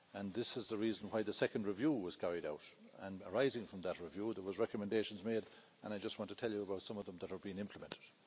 This is the reason why the second review was carried out and, arising from that review, there were recommendations made and I just want to tell you about some of them that have been implemented.